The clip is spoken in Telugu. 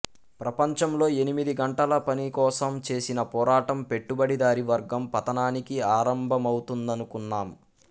ప్రపంచంలో ఎనిమిది గంటల పనికోసం చేసిన పోరాటం పెట్టుబడిదారీ వర్గం పతనానికి ఆరంభమవుతుందనుకున్నాం